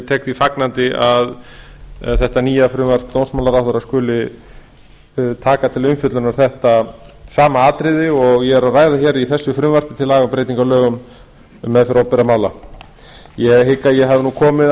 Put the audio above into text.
tek því fagnandi að þetta nýja frumvarp dómsmálaráðherra skuli taka til athugunar þetta sama atriði og ég er að ræða í þessu frumvarpi til breytinga á lögum um meðferð opinberra mála ég hygg að ég hafi komið